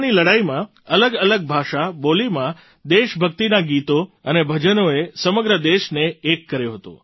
સ્વતંત્રતાની લડાઈમાં અલગઅલગ ભાષા બોલીમાં દેશભક્તિનાં ગીતો અને ભજનોએ સમગ્ર દેશને એક કર્યો હતો